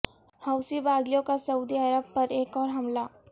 حوثی باغیوں کا Saudi Arab پر ایک اور حملہ